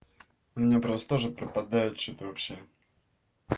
у меня просто тоже пропадают что-то вообще